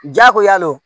Jakoya le